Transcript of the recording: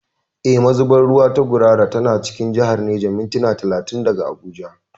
Eh, Mazunar ruwa ta Gurara tana cikin jihar Neja, mintuna talatin daga Abuja.